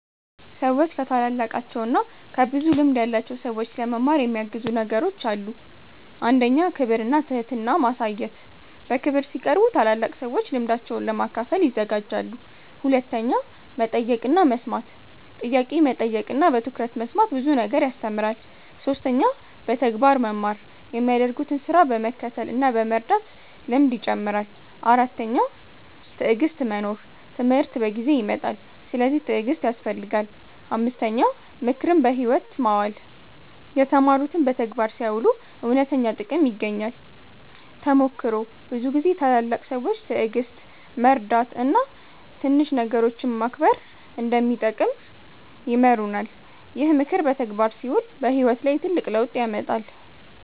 ሰዎች ከታላላቃቸው እና ከብዙ ልምድ ያላቸው ሰዎች ለመማር የሚያግዙ ነገሮች አሉ። 1. ክብር እና ትህትና ማሳየት በክብር ሲቀርቡ ታላላቅ ሰዎች ልምዳቸውን ለመካፈል ይዘጋጃሉ። 2. መጠየቅ እና መስማት ጥያቄ መጠየቅ እና በትኩረት መስማት ብዙ ነገር ያስተምራል። 3. በተግባር መማር የሚያደርጉትን ስራ በመከተል እና በመርዳት ልምድ ይጨምራል። 4. ትዕግሥት መኖር ትምህርት በጊዜ ይመጣል፤ ስለዚህ ትዕግሥት ያስፈልጋል። 5. ምክርን በሕይወት ማዋል የተማሩትን በተግባር ሲያውሉ እውነተኛ ጥቅም ይገኛል። ተሞክሮ ብዙ ጊዜ ታላላቅ ሰዎች ትዕግሥት፣ መርዳት እና ትንሽ ነገሮችን መከብር እንደሚጠቅም ይማሩናል። ይህ ምክር በተግባር ሲውል በሕይወት ላይ ትልቅ ለውጥ ያመጣል።